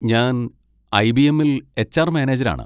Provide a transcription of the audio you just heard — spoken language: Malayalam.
ഞാൻ ഐ.ബി.എമ്മിൽ എച്ച്. ആർ. മാനേജരാണ്.